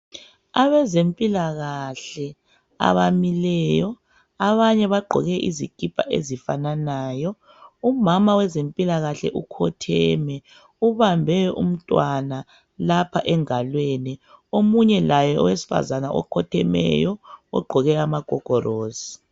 Abezempilakahle abamileyo abanye bagqoke izikipa ezifananayo. Umama wezempilakahle ukhotheme ubambe umntwana lapha engalweni. Omunye laye owesifazana okhothemeyo ogqoke amagogorosi.